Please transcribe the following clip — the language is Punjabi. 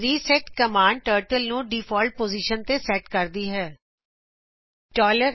ਰੀਸੈੱਟ ਕੋਮਾਡ ਟਰਟਲ ਨੂੰ ਡਿਫਾਲਟ ਪੋਜਿਸ਼ਨ ਤੇ ਸੈਟ ਕਰਦੀ ਹੈਂ